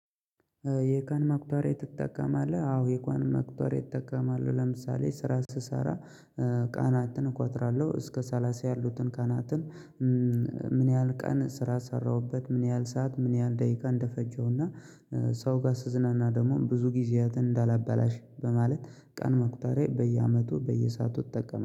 የቀን መቁጠሪያ ትጠቀማለህ? አዎ የቀን መቁጠሪያ እትጠቀማለህ ለምሳሌ ስራ ስሰራ ቀናትን እቆጥራለሁ እስከ ሰላሳ ያሉትን ቃናትን። ምን ያህል ቀን ስራ ሰራሁበት ምን ያህል ሰዓት ምን ያህል ደቂቃ እንደፈጀሁና። ሰው ጋር ስዝናና ደግሞ ብዙ ጊዜያትን እንዳላበላሽ በማለት ቀን መቁጠሪያ በየአመቱ በየሳአቱ እጠቀማለው